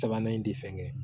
Sabanan in tɛ fɛn kɛ